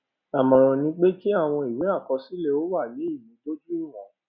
àmọràn ni pé kí àwọn ìwé àkọsílẹ ó wà ní ìmúdójúìwọn